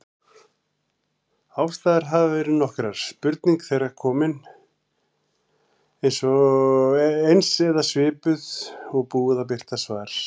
Ástæður hafa verið nokkrar: Spurning þegar komin, eins eða svipuð, og búið að birta svar.